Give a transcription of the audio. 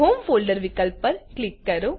home folderવિકલ્પ પર click કરો